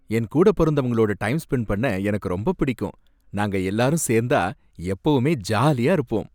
என்கூட பொறந்தவங்களோட time spent பண்ண எனக்கு ரொம்ப பிடிக்கும், நாங்க எல்லாரும் சேர்ந்தா எப்பவுமே ஜாலியா இருப்போம்.